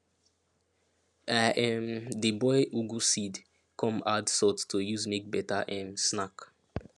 i um dey boil ugu seed come add salt to use make better um snack